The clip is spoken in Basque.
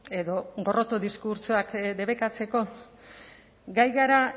edo gorroto diskurtsoak debekatzeko gai gara